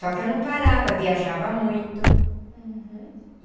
Só que eu não parava, viajava muito. Uhum.